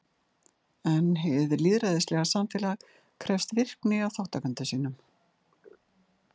En hið lýðræðislega samfélag krefst virkni af þátttakendum sínum.